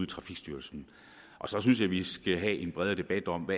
trafikstyrelsen så synes jeg vi i skal have en bredere debat om